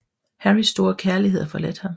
Harris store kærlighed har forladt ham